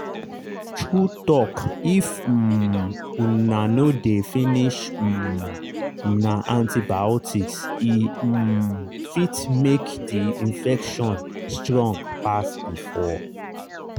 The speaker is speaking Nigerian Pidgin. true talkif um una no dey finish um una antibiotics e um fit make the infection strong pass before.